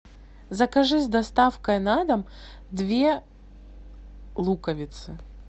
закажи с доставкой на дом две луковицы